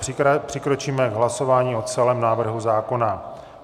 Přikročíme k hlasování o celém návrhu zákona.